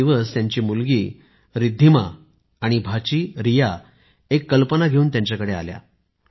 एक दिवस त्यांची मुलगी रिद्धिमा आणि भाची रिया एक कल्पना घेऊन त्यांच्याकडे आल्या